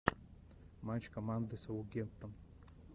матч команды саутгемптон